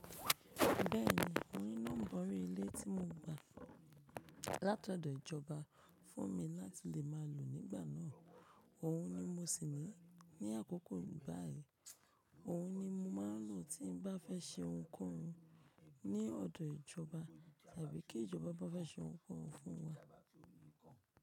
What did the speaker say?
Bẹ́ẹ̀ni, òun ni nọ́mbà orí ilé tí mo gba láti ọ̀dọ̀ ìjọba fún mi láti lè máa lò nígbà náà. Òun ni mo sì ní ní àkókò báyìí. Òun ni mo máa n lò tí n bá fẹ́ ṣe ohunkóhun ní ọ̀dọ̀ ìjọba tàbí kí ìjọba bá fẹ́ ṣe ohunkóhun fún wa.